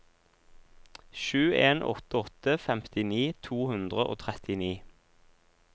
sju en åtte åtte femtini to hundre og trettini